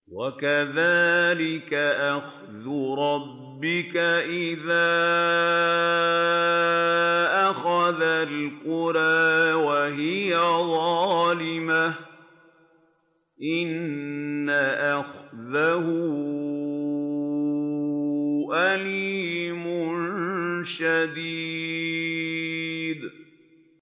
وَكَذَٰلِكَ أَخْذُ رَبِّكَ إِذَا أَخَذَ الْقُرَىٰ وَهِيَ ظَالِمَةٌ ۚ إِنَّ أَخْذَهُ أَلِيمٌ شَدِيدٌ